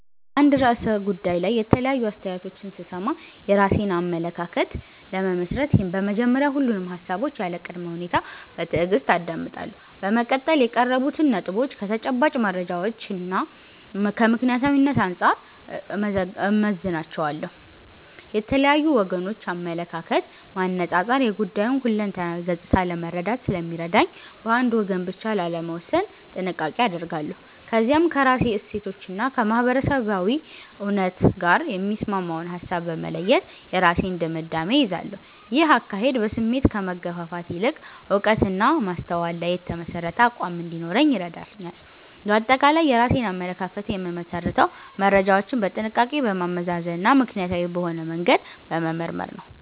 በአንድ ርዕሰ ጉዳይ ላይ የተለያዩ አስተያየቶችን ስሰማ፣ የራሴን አመለካከት ለመመስረት በመጀመሪያ ሁሉንም ሃሳቦች ያለ ቅድመ ሁኔታ በትዕግስት አዳምጣለሁ። በመቀጠል የቀረቡትን ነጥቦች ከተጨባጭ መረጃዎችና ከምክንያታዊነት አንጻር እመዝናቸዋለሁ። የተለያዩ ወገኖችን አመለካከት ማነጻጸር የጉዳዩን ሁለንተናዊ ገጽታ ለመረዳት ስለሚረዳኝ፣ በአንድ ወገን ብቻ ላለመወሰን ጥንቃቄ አደርጋለሁ። ከዚያም ከራሴ እሴቶችና ከማህበረሰባዊ እውነት ጋር የሚስማማውን ሃሳብ በመለየት የራሴን ድምዳሜ እይዛለሁ። ይህ አካሄድ በስሜት ከመገፋፋት ይልቅ በዕውቀትና በማስተዋል ላይ የተመሠረተ አቋም እንዲኖረኝ ይረዳኛል። ባጠቃላይ የራሴን አመለካከት የምመሰርተው መረጃዎችን በጥንቃቄ በማመዛዘንና ምክንያታዊ በሆነ መንገድ በመመርመር ነው።